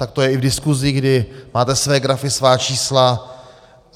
Tak to je i v diskusi, kdy máte své grafy, svá čísla.